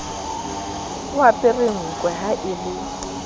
apere nkwe ha e le